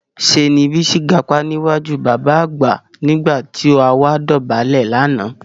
Ṣé ni Bísí gapá níwájú bàbá àgbà nígbà tó àwa dọ̀bálẹ̀ lánàá